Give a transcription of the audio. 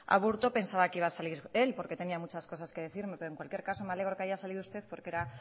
aburto pensaba que iba a salir él porque tenía muchas cosas que decirme pero en cualquier caso me alegro que haya salido usted porque era